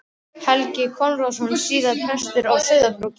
Helgi Konráðsson, síðar prestur á Sauðárkróki.